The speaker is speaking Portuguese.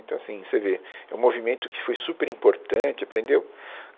Então, assim, você vê, é um movimento que foi super importante, aprendeu